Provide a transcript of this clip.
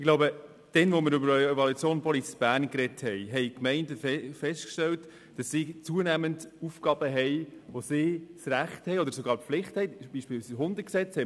Als wir über die Evaluation Police Bern gesprochen haben, haben die Gemeinden festgestellt, dass sie zunehmend Aufgaben bekommen, zu deren Erfüllung sie das Recht oder sogar die Pflicht haben, eine Identität festzustellen – Beispiel Hundegesetz;